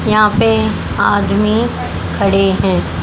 यहां पे आदमी खड़े हैं।